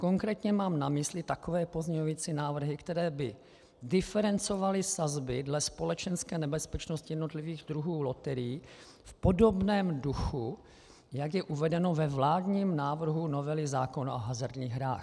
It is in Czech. Konkrétně mám na mysli takové pozměňující návrhy, které by diferencovaly sazby dle společenské nebezpečnosti jednotlivých druhů loterií v podobném duchu, jak je uvedeno ve vládním návrhu novely zákona o hazardních hrách.